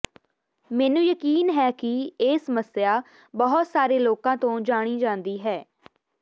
ਮੈਨੂੰ ਯਕੀਨ ਹੈ ਕਿ ਇਹ ਸਮੱਸਿਆ ਬਹੁਤ ਸਾਰੇ ਲੋਕਾਂ ਤੋਂ ਜਾਣੀ ਜਾਂਦੀ ਹੈ